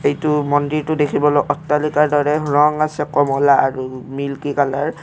এইটো মন্দিৰটো দেখিবলৈ অট্টালিকাৰ দৰে ৰং আছে কমলা আৰু মিল্কী কালাৰ ।